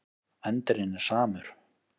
Endirinn er samur.